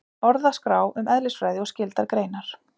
Orðaskrá um eðlisfræði og skyldar greinar.